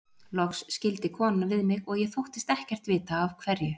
Loks skildi konan við mig og ég þóttist ekkert vita af hverju.